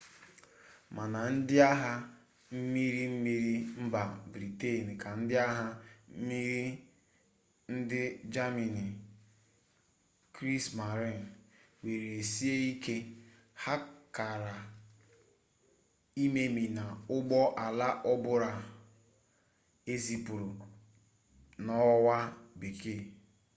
ma na ndi agha mmiri mmiri mba britain ka ndi agha mmmiri ndi germany kriesmarine were sie ike. ha kara imemina ugbo ala obula ezipuru n’owa bekee